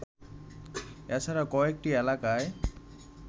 এছাড়া কয়েকটি এলাকায়